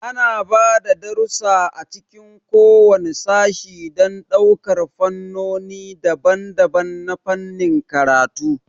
Ana ba da darussa a cikin kowane sashe don ɗaukar fannoni daban-daban na fannin karatu.